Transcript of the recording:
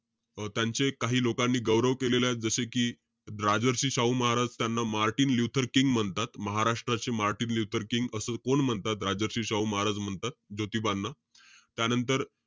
त्यांचे काही लोकांनी गौरव केलेलाय. जसे कि, राजर्षी शाहू महाराज त्यांना मार्टिन ल्युथर किंग म्हणतात. महाराष्ट्राचे मार्टिन ल्युथर किंग असं कोण म्हणतात? राजर्षी शाहू महाराज म्हणतात, ज्योतीबांना. त्यांनतर,